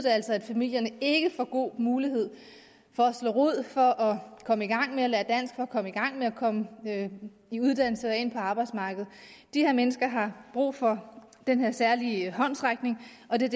at familierne ikke får god mulighed for at slå rod for at komme i gang med at lære dansk for at komme i gang med at komme i uddannelse eller ind på arbejdsmarkedet de her mennesker har brug for den her særlige håndsrækning og det er